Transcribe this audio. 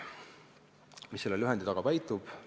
Mis selle lühendi taga peitub?